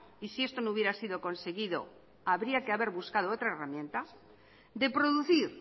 y si esto no hubiera sido conseguido habría que haber buscado otras herramientas de producir